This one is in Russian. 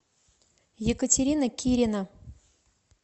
екатерина кирина